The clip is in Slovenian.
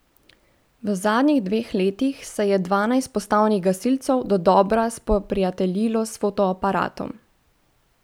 V zadnjih dveh letih se je dvanajst postavnih gasilcev dodobra spoprijateljilo s fotoaparatom.